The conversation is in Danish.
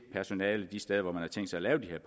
personalet de steder hvor man har tænkt sig at lave